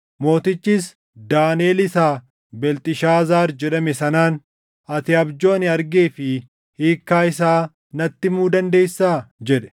Mootichis Daaniʼel isa Beelxishaazaar jedhame sanaan, “Ati abjuu ani argee fi hiikkaa isaa natti himuu dandeessaa?” jedhe.